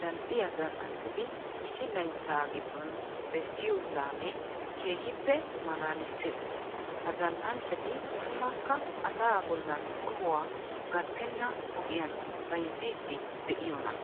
zal"iya zal"anchchati issi layttaa giddon bessiyo laamee keehippe maalaalissees. Ha zal"anchchati tumukka asaa bollan qohuwa gattenna ogiyan bayzziiddi de'iyonaa!